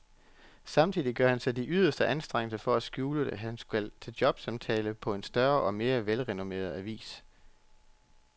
Samtidig gør han sig de yderste anstrengelser for at skjule, at han skal til jobsamtale på en større og mere velrenommeret avis.